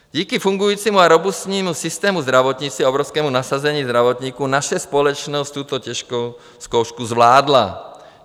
Díky fungujícímu a robustnímu systému zdravotnictví a obrovskému nasazení zdravotníků naše společnost tuto těžkou zkoušku zvládla.